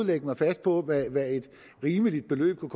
lægge mig fast på hvad et rimeligt beløb kunne